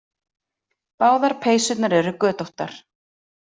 Báðar peysurnar eru götóttar.